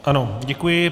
Ano, děkuji.